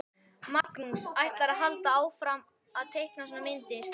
Magnús: Ætlarðu að halda áfram að teikna svona myndir?